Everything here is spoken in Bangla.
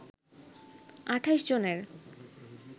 ২৮ জনের